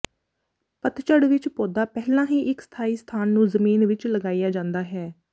ਪਤਝੜ ਵਿੱਚ ਪੌਦਾ ਪਹਿਲਾਂ ਹੀ ਇੱਕ ਸਥਾਈ ਸਥਾਨ ਨੂੰ ਜ਼ਮੀਨ ਵਿੱਚ ਲਗਾਇਆ ਜਾਂਦਾ ਹੈ